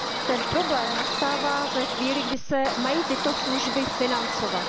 Ten problém nastává ve chvíli, kdy se mají tyto služby financovat.